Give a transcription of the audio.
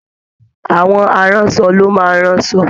Àwọn aránṣọ ló máa ń rán asọ